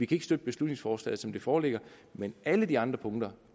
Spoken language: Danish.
kan støtte beslutningsforslaget som det foreligger men alle de andre punkter